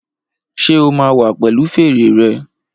Ṣé o máa wá pẹ̀lu fèrè rẹ?